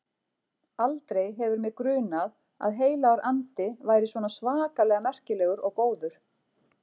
Aldrei hefur mig grunað að Heilagur Andi væri svona svakalega merkilegur og góður.